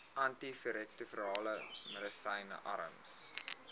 antiretrovirale medisyne arms